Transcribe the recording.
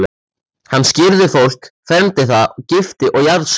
Hann skírði fólk, fermdi það, gifti og jarðsöng.